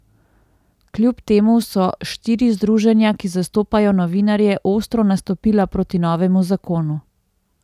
Kljub temu so štiri združenja, ki zastopajo novinarje, ostro nastopila proti novemu zakonu.